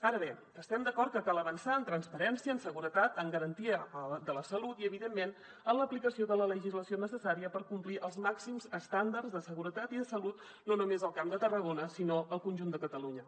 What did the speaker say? ara bé estem d’acord que cal avançar en transparència en seguretat en garantia de la salut i evidentment en l’aplicació de la legislació necessària per complir els màxims estàndards de seguretat i de salut no només al camp de tarragona sinó al conjunt de catalunya